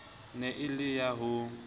ne e le ya ho